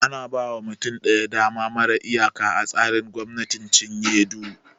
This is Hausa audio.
Ana ba wa mutum ɗaya dama mara iyaka a tsarin gwamnatin cinye du